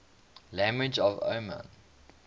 languages of oman